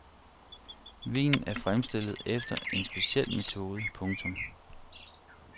Vinen er fremstillet efter en speciel metode. punktum